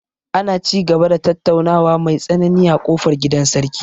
Ana ci gaba da tattaunawa mai tsanani a ƙofar gidan sarki.